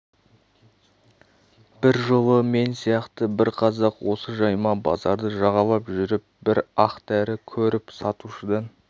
бір жолы мен сияқты бір қазақ осы жайма базарды жағалап жүріп бір ақ дәрі көріп сатушыдан